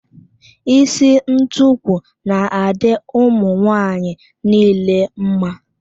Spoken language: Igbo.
Isi ntukwu na-adị ụmụ nwaanyị nile mma.